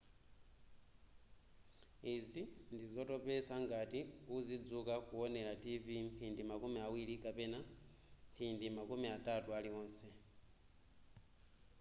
izi ndizotopetsa ngati uzidzuka kuwonera tv mphindi makumi awiri kapena mphindi makumi atatu aliwonse